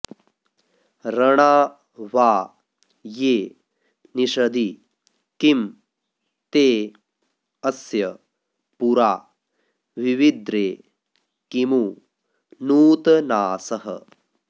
रणा वा ये निषदि किं ते अस्य पुरा विविद्रे किमु नूतनासः